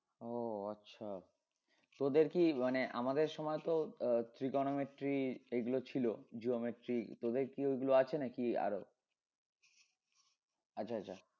ও আচ্ছা তোদের কি মানে আমাদের সময় তো আহ trigonometry এগুলো ছিল geometry তোদের কি ওই গুলো আছে নাকি আরো? আচ্ছা আচ্ছা